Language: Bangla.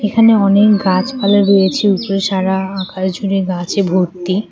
এখানে অনেক গাছপালা রয়েছে উপরে সারা আকাশ জুড়ে গাছে ভর্তি।